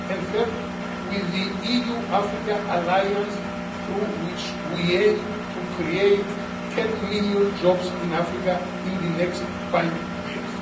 And third, with the EU Africa Alliance, through which we aim to create 10 million jobs in Africa in the next five